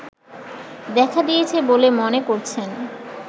দেখা দিয়েছে বলে মনে করছেন